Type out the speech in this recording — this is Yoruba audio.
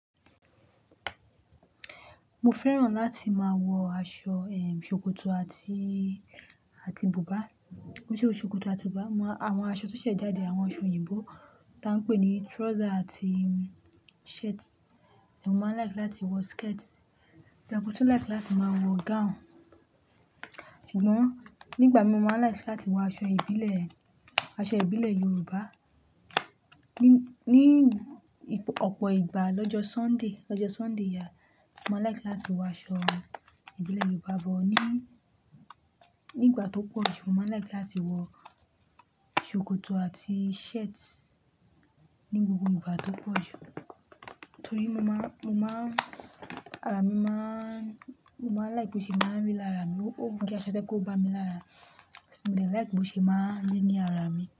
Mo fẹ́ràn láti máa wọ aṣọ, eh, ṣòkòtò àti, àti buba. Ó ṣe ó ṣòkòtò àti buba. Àwọn aṣọ tó ṣe jáde, àwọn aṣọ òyìnbó tá ń pè ní trouser àti shirt. Èmi máa like láti wọ skirt, madee tuu like láti máa wọ gown. Ṣùgbọ́n nígbà mi máa like láti wọ aṣọ ìbílẹ̀, aṣọ ìbílẹ̀ Yorùbá. Ni, ní ọ̀pọ̀ ìgbà lọ́jọ́ Sunday, lọ́jọ́ Sunday yà, mó like láti wọ aṣọ ìbílẹ̀ Yorùbá bọ̀. Ni, ní ìgbà tó pọ̀ jù mó máa like láti wọ ṣòkòtò àti shirt ní gbogbo ìgbà tó pọ̀ jù. Torí mó má, mó má, ara mi má, mó má like bó ṣe má ń rí lára mi. Ó ń gé aṣọ tẹ́kò bá mi lára. So mo de like bó ṣe má ń rí ní ara mi.